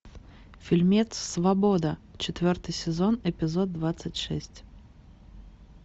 фильмец свобода четвертый сезон эпизод двадцать шесть